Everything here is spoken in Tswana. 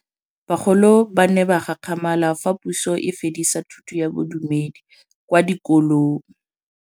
Bagolo ba ne ba gakgamala fa Pusô e fedisa thutô ya Bodumedi kwa dikolong.